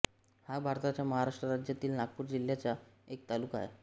हा भारताच्या महाराष्ट्र राज्यातील नागपूर जिल्ह्याचा एक तालुका आहे